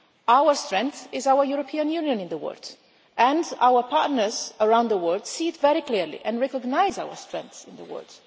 Our strength is our European Union in the world, and our partners around the world see it very clearly and recognise our strengths in the world.